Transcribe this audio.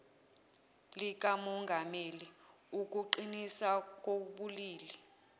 likamongameli ukuqinisa kokubili